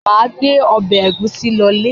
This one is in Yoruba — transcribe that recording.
Mà gbé ọbẹ̀ ẹ̀gúsí lọlé.